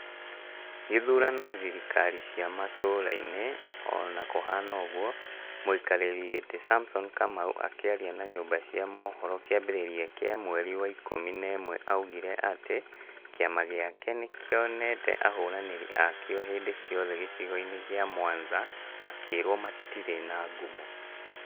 Gĩthurano thirikari cĩa matũra-inĩ ona kuhana ũguo, mũikarĩri gĩtĩ Samson Kamau akĩaria na nyũmba cia mohoro kĩambĩrĩria kĩa mweri wa ikũmi na ĩmwe augire atĩ kiama gĩake nĩkĩonete ahũranĩri akio hĩndi ciothe gĩcigo-inĩ gĩa Mwanza makĩrwo matirĩ na ngumo